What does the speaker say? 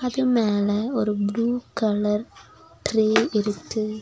அது மேல ஒரு ப்ளூ கலர் ட்ரே இருக்கு.